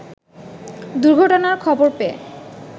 দুর্ঘটনার খবর পেয়ে